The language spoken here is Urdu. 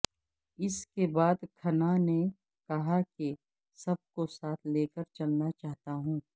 اس کے بعد کھنہ نے کہا کہ سب کو ساتھ لے کر چلنا چاہتا ہوں